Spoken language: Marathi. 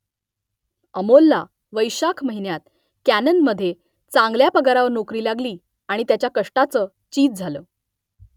अमोलला वैशाख महिन्यात कॅननमधे चांगल्या पगारावर नोकरी लागली आणि त्याच्या कष्टाचं चीज झालं